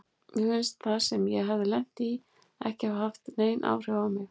Mér fannst það sem ég hafði lent í ekki hafa haft nein áhrif á mig.